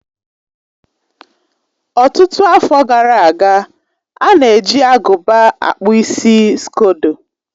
Ọtụtụ afọ gara aga, a na-eji agụba akpụ isi skodo.